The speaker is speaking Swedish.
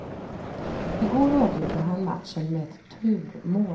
I går avgjorde han matchen med ett turmål.